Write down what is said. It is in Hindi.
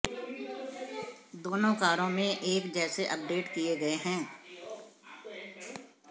दोनों कारों में एक जैसे अपडेट किए गए हैं